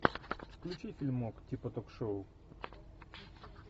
включи фильмок типа ток шоу